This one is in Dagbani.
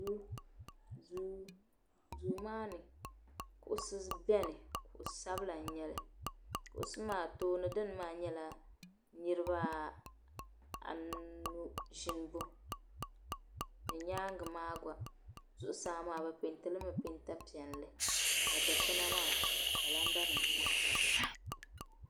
Duu, duu maani kuɣisi n beni kuɣisabila n nyɛli kuɣisi maa tooni dini maa nyɛla niribi anu ʒini, ni nyaaŋa maa gba zuɣusaa maa bɛ pɛɛntila pɛnta piɛli. ka dikpuna maa ka calandanim tabtabya.